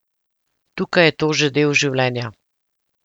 Tukaj je to že del življenja.